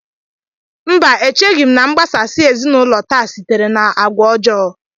Mba, echeghị m na mgbasasị ezinaụlọ taa sitere n'agwa ọjọọ